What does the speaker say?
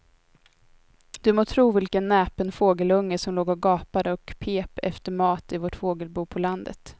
Du må tro vilken näpen fågelunge som låg och gapade och pep efter mat i vårt fågelbo på landet.